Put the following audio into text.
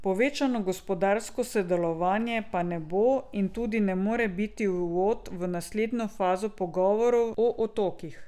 Povečano gospodarsko sodelovanje pa ne bo in tudi ne more biti uvod v naslednjo fazo pogovorov o otokih.